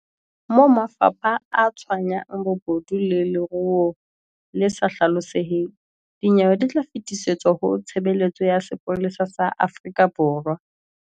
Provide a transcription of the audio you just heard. Moo mafapha a tshwayang bobodu le leruo le sa hlaloseheng, dinyewe di tla fetisetswa ho Tshebeletso ya Sepolesa sa Afrika Borwa.